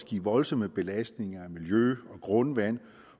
give voldsomme belastninger af miljø og grundvand